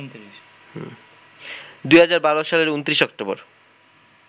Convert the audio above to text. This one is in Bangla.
২০১২ সালের ২৯ অক্টোবর